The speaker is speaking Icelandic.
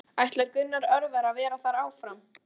Ætlar Gunnar Örvar að vera þar áfram?